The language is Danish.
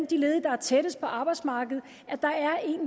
de ledige der er tættest på arbejdsmarkedet